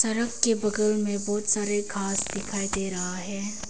Truck के बगल में बहुत सारे घास दिखाई दे रहा है।